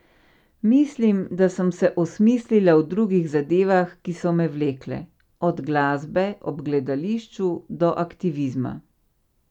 Mislim, da sem se osmislila v drugih zadevah, ki so me vlekle, od glasbe ob gledališču do aktivizma.